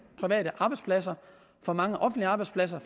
arbejdspladser for mange offentlige arbejdspladser